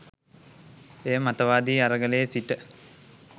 එය මතවාදි අරගලයේ සිට